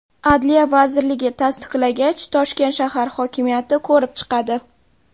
Adliya vazirligi tasdiqlagach, Toshkent shahar hokimiyati ko‘rib chiqadi.